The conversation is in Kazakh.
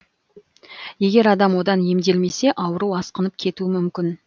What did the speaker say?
егер адам одан емделмесе ауру асқынып кетуі мүмкін